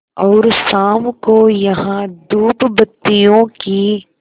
और शाम को यहाँ धूपबत्तियों की